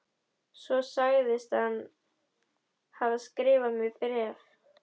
Svo sagðist hann hafa skrifað mér bréf.